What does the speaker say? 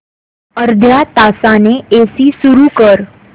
अर्ध्या तासाने एसी सुरू कर